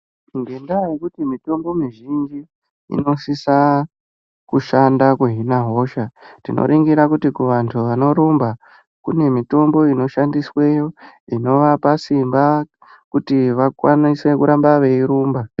Ngendaa yekuti mitombo mizhinji inosisa kushanda kuhina hosha, tinoringira kuti kuvantu vanorumba, kune mitombo inoshandisweyo inovapa simba kuti vakwanise kuramba veirumba.